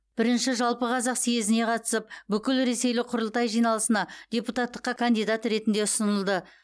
бірінші жалпықазақ съезіне қатысып бүкілресейлік құрылтай жиналысына депутаттыққа кандидат ретінде ұсынылды